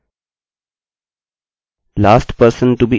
last person to be inserted हाँवाकई में यह कार्य कर रहा है